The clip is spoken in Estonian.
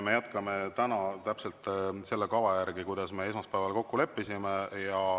Me jätkame täna täpselt selle kava järgi, mille me esmaspäeval kokku leppisime.